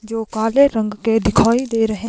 जो काले रंग के दिखाई दे रहे--